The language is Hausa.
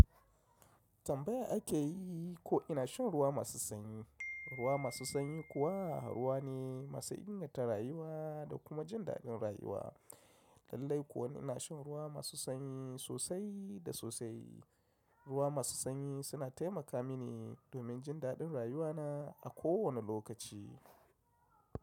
Tambaya ake yi ko ina shan ruwa masu sanyi. Ruwa masu sanyi kuwa ruwa ne masu inganta rayuwa da kuma jin daɗin rayuwa. Lallai kuwa ina shan ruwa masu sanyi sosai da sosai. Ruwa masu sanyi suna taimaka mini domin jin daɗin rayuwana a kowane lokaci.